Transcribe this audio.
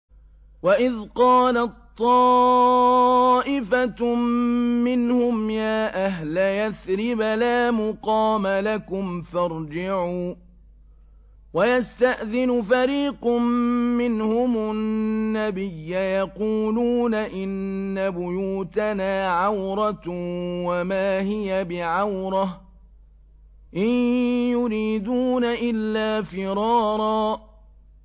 وَإِذْ قَالَت طَّائِفَةٌ مِّنْهُمْ يَا أَهْلَ يَثْرِبَ لَا مُقَامَ لَكُمْ فَارْجِعُوا ۚ وَيَسْتَأْذِنُ فَرِيقٌ مِّنْهُمُ النَّبِيَّ يَقُولُونَ إِنَّ بُيُوتَنَا عَوْرَةٌ وَمَا هِيَ بِعَوْرَةٍ ۖ إِن يُرِيدُونَ إِلَّا فِرَارًا